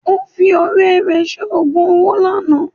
Ó fi ọ̀rẹ́ rẹ̀ ṣe ogún owo lánàá